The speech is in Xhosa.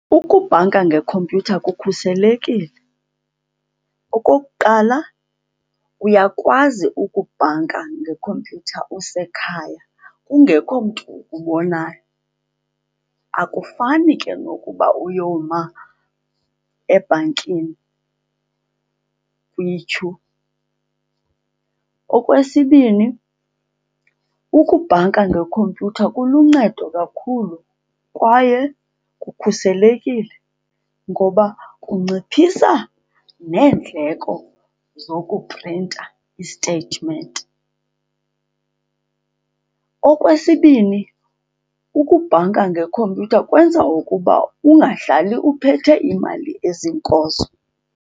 Ukubhanka ngekhompyutha kukhuselekile. Okokuqala, uyakwazi ukubhanka ngekhompyutha usekhaya kungekho mntu ukubonayo. Akufani ke nokuba uyoma ebhankini kwityhu. Okwesibini, ukubhanka ngekhompyutha kuluncedo kakhulu kwaye kukhuselekile ngoba kunciphisa neendleko zokuprinta isteyitimenti. Okwesibini, ukubhanka ngekhompyutha kwenza ukuba ungahlali uphethe imali ezinkozo.